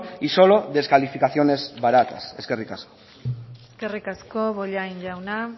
y solo descalificaciones baratas eskerrik asko eskerrik asko bollain jauna